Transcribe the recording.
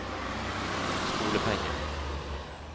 skolepengene